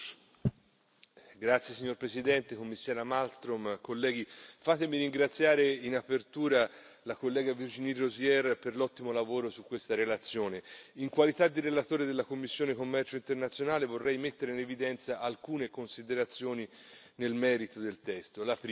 Signor Presidente, onorevoli colleghi, signora Commissario Malmström, fatemi ringraziare in apertura la collega Virginie Rozière per l'ottimo lavoro svolto su questa relazione. In qualità di relatore della commissione per il commercio internazionale, vorrei mettere in evidenza alcune considerazioni nel merito del testo.